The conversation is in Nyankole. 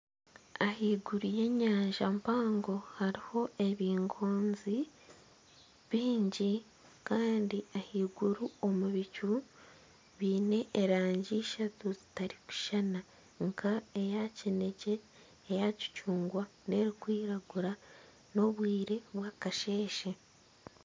Ahaiguru y'enyanja mpango hariho ebingoonzi byingi Kandi ahaiguru omu bicu biine erangi ishatu zitarikushushana nka eya kinekye , eya kicungwa ,nana erikwiragura n'obwiire bwakasheeshe.